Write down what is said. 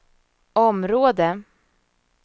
område